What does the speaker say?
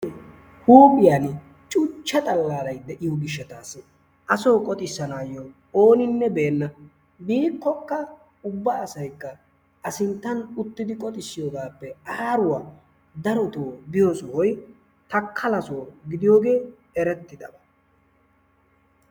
Huuphphiyaan cuuchcha xallara i de'iyo gishshataasi asoo qoxissanayo oonine beena. Biikokka ubba asaykka a sinttan uttidi qoxxissiyoogaappe aaruwa darotoo biyo sohoy takala soo gidiyoogee erettidabaa.